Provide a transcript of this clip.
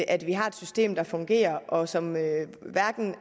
at vi har et system der fungerer og som hverken